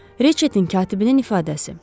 Reçetin katibinin ifadəsi.